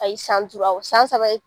Ayi san duuru awɔ. San saba ye